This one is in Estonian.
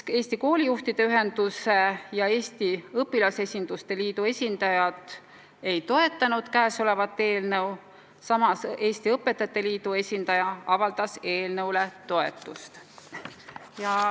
Eesti Koolijuhtide Ühenduse ja Eesti Õpilasesinduste Liidu esindajad ei toetanud eelnõu, Eesti Õpetajate Liidu esindaja aga avaldas sellele toetust.